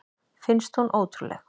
Finnst hún ótrúleg.